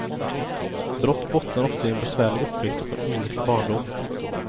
Brott bottnar ofta i en besvärlig uppväxt och en olycklig barndom.